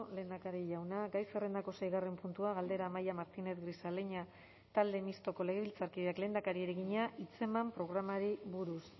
lehendakari jauna gai zerrendako seigarren puntua galdera amaia martínez grisaleña talde mistoko legebiltzarkideak lehendakariari egina hitzeman programari buruz